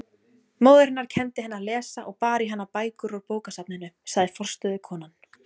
Móðir hennar kenndi henni að lesa og bar í hana bækur úr bókasafninu, sagði forstöðukonan.